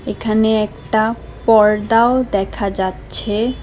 এখানে একটা পর্দাও দেখা যাচ্ছে।